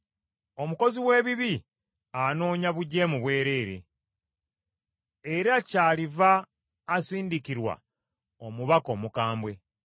Omukozi w’ebibi anoonya bujeemu bwereere, era kyaliva asindikirwa omubaka omukambwe.